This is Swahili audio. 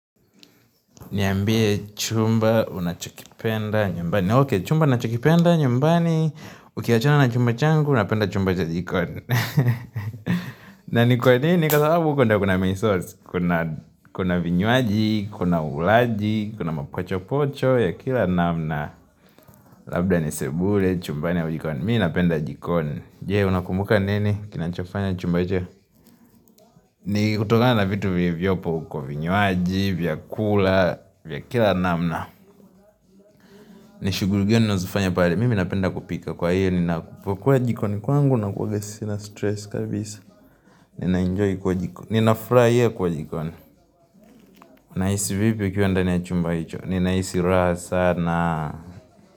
Niambie chumba, unachokipenda, nyumbani. Okey, chumba ninachokipenda, nyumbani. Ukiachana na chumba changu napenda chumba ya jikoni. Na ni kwa nini? Kwa sababu huko ndo kuna misosi, kuna vinywaji, kuna ulaji, kuna mapacho pocho ya kila namna. Labda ni sebule, chumbani au jikoni. Mii napenda jikoni. Je, unakumbuka nini? Kinachofanya chumba hicho? Ni kutokana na vitu vyopo uko vinywaji, vyakula, vya kila namna. Nishughuli gani unazifanya pale, mimi napenda kupika kwa hiyo ninapokuwa jikoni kwangu nakuwanga sina stress kabisa, ninaenjoy kuwa jikoni, ninafurahia kuwa jikoni, nahisi vipi ukiwa ndani ya chumba hicho, ninahisi raha sana.